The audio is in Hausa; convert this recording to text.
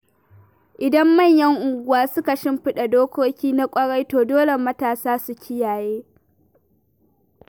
Idan manyan unguwa suka shimfiɗa dokoki na ƙwarai, to dole matasa su kiyaye.